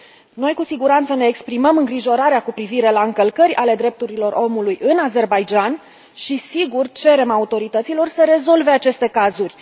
Noi, cu siguranță, ne exprimăm îngrijorarea cu privire la încălcări ale drepturilor omului în Azerbaidjan și, sigur, cerem autorităților să rezolve aceste cazuri.